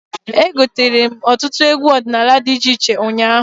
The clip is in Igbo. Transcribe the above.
Egotere m ọtụtụ egwu ọdịnala dị iche iche ụnyaahụ.